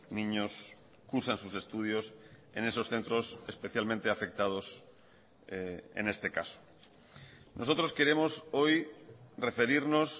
niños cursan sus estudios en esos centros especialmente afectados en este caso nosotros queremos hoy referirnos